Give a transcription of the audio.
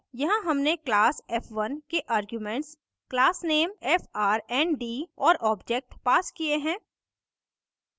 यहाँ हमने class f1 के आर्ग्यूमेंट्स class _ name frnd और object passed किये हैं